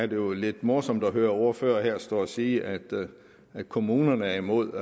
det jo lidt morsomt at høre ordførere stå her og sige at at kommunerne er imod